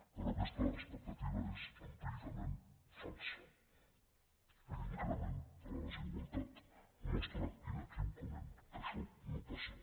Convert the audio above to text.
però aques·ta expectativa és empíricament falsa l’increment de la desigualtat mostra inequívocament que això no passa